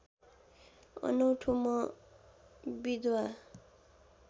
अनौठो म विधवा